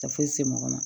Tɛ foyi se mɔgɔ ma